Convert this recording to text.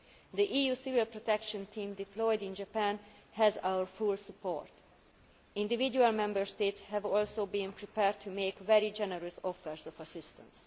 The EU civil protection team deployed in Japan has our full support. Individual Member States have also been prepared to make very generous offers of assistance.